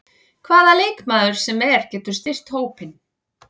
Hvaða leikmaður sem er getur styrkt hópinn.